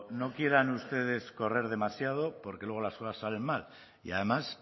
no quieran ustedes correr demasiado porque luego las cosas sale mal y además